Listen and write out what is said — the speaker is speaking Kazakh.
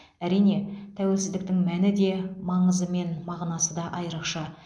әрине тәуелсіздіктің мәні де маңызы мен мағынасы да айрықша